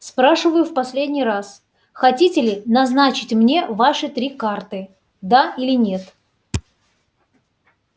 спрашиваю в последний раз хотите ли назначить мне ваши три карты да или нет